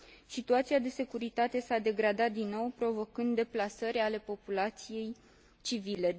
Situația de securitate s a degradat din nou, provocând deplasări ale populației civile.